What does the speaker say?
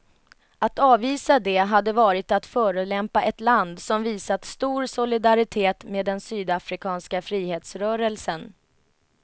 Att avvisa det hade varit att förolämpa ett land som visat stor solidaritet med den sydafrikanska frihetsrörelsen.